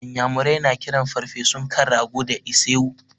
Inyamurai na kiran ferfesun kan rago da ise-wu.